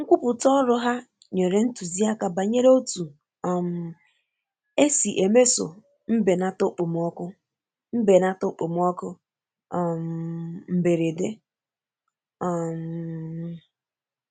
Nkwuputa ọrụ ọha nyere ntuziaka banyere otu um esi emeso mbenata okpomọkụ mbenata okpomọkụ um mberede. um